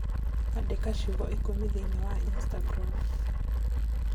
Andĩka ciugo ikũmi thĩinĩ wa Instagram